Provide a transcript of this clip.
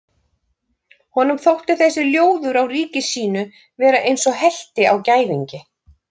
Honum þótti þessi ljóður á ríki sínu vera eins og helti á gæðingi.